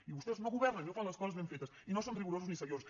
i vostès no governen i no fan les coses ben fetes i no són ni rigorosos ni seriosos